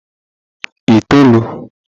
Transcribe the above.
itoolu